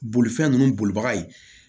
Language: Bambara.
Bolifɛn ninnu bolibaga ye